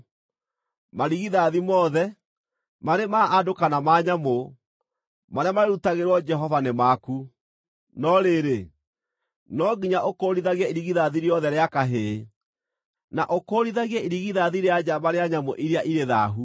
Marigithathi mothe, marĩ ma andũ kana ma nyamũ, marĩa marĩrutagĩrwo Jehova nĩ maku. No rĩrĩ, no nginya ũkũũrithagie irigithathi rĩothe rĩa kahĩĩ, na ũkũũrithagie irigithathi rĩa njamba rĩa nyamũ iria irĩ thaahu.